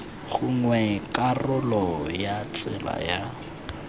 gongwe karolo ya tsela ya